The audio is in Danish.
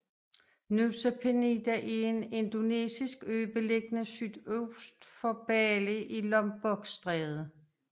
Nusa Penida er en indonesisk ø beliggende sydøst for Bali i Lombokstrædet